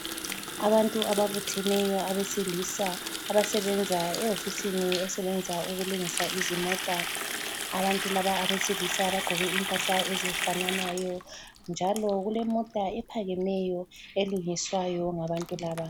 Abantu ababutheneyo abesilisa abasebenza ehofisini esebenza ukulungisa izimota. Abantu laba abesilisa bagqoke impahla ezifananayo njalo kulemota ephakemeyo elungiswayo ngabantu laba.